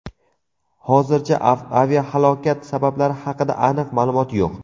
Hozircha aviahalokat sabablari haqida aniq ma’lumot yo‘q.